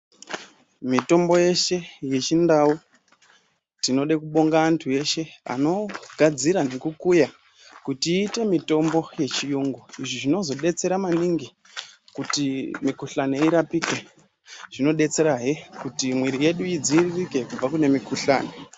Mitombo yeshe yechindau tinoda kubonga antu eshe anoguya nekugadzira kuti iite mitombo yechiyungu izvi zvinozodetsera maningi kuti mikhuhlane irapike zvimodetserahe kuti mwiri yedu idziviririke kubva kune mikhuhlane.